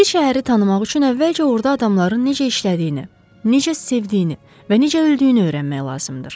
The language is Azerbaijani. Bir şəhəri tanımaq üçün əvvəlcə orada adamların necə işlədiyini, necə sevdiyini və necə öldüyünü öyrənmək lazımdır.